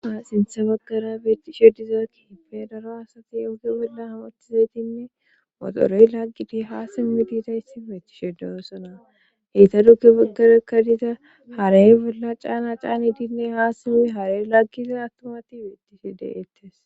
Sinthe baggara beettishe dizakki hipe daro asati uuge bolla hamothtizatinne moxoroy laggidi ha simmi diidayssi beettishedesona heyta dukke baggarekka dida haraye bolla caana caani dinne haa simmi hare laggiza attomati beettishe deettes